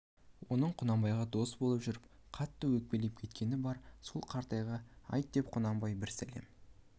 оның құнанбайға дос боп жүріп қатты өкпелеп кеткені бар сол қаратайға айт деп құнанбай бір сәлем